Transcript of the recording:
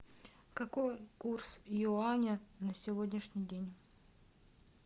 какой курс юаня на сегодняшний день